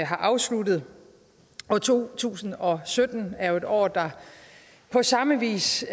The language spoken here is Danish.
har afsluttet to tusind og sytten er jo et år der på samme vis